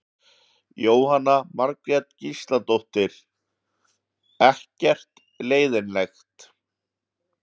Jóhanna Margrét Gísladóttir: Ekkert leiðinlegt?